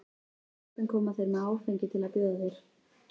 Sjaldan koma þeir með áfengi til að bjóða þér.